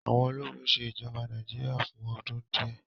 àwọn ólogun ṣe ijọba Nàìjíríà fun ọdun diẹ